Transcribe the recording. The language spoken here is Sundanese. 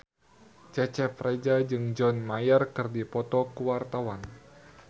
Cecep Reza jeung John Mayer keur dipoto ku wartawan